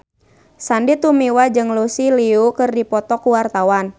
Sandy Tumiwa jeung Lucy Liu keur dipoto ku wartawan